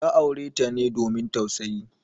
Ya aure ta ne domin tausayi.